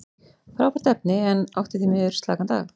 Frábært efni, en átti því miður slakan dag.